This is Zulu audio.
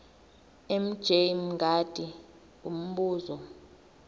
mj mngadi umbuzo